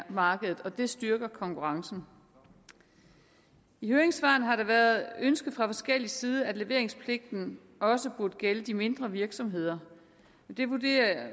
markedet og det styrker konkurrencen i høringssvarene har det været et ønske fra forskellig side at leveringspligten også burde gælde de mindre virksomheder